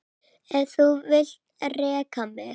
Ef þú vilt reka mig?